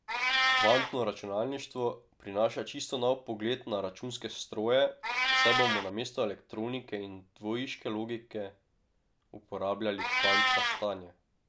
Kvantno računalništvo prinaša čisto nov pogled na računske stroje, saj bomo namesto elektronike in dvojiške logike uporabljali kvantna stanja.